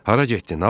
Hara getdin?